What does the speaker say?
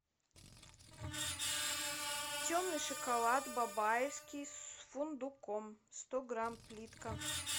темный шоколад бабаевский с фундуком сто грамм плитка